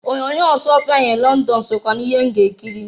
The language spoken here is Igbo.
Onyoonyo Ọsụọfịa in Lọndọn sokwa n'ihe m ga-ekiri.